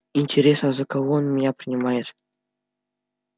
интересно за кого он меня принимает